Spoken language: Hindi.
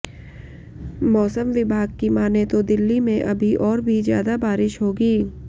मौसम विभाग की माने तो दिल्ली में अभी और भी ज्यादा बारिश होगी